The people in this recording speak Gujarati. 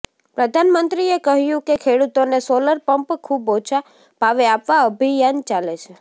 પ્રધાનમંત્રીએ કહ્યું કે ખેડૂતોને સોલર પંપ ખુબ ઓછા ભાવે આપવા અભિયાન ચાલે છે